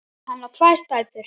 Hann á tvær dætur.